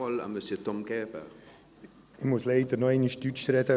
Ich muss leider noch einmal Deutsch sprechen.